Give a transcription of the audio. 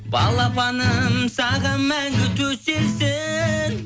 балапаным саған мәңгі төселсін